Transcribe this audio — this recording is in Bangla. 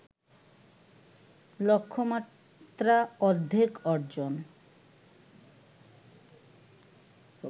লক্ষ্যমাত্রা অর্ধেক অর্জন